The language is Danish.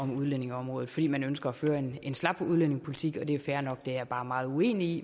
om udlændingeområdet fordi man ønsker at føre en en slap udlændingepolitik det er fair nok det er jeg bare meget uenig i